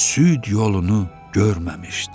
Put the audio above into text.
süd yolunu görməmişdi.